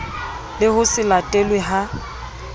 le ho se latelwe ha